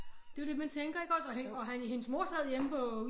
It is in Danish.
Det jo det man tænker iggås og hæng og han hendes mor sad hjemme på